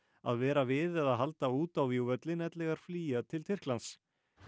að vera við eða halda út á vígvöllinn ellegar flýja til Tyrklands